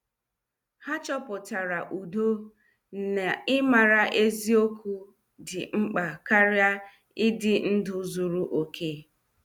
Ha chọpụtara udo n' ịmara eziokwu dị mkpa karịa ịdị ndụ zuru okè.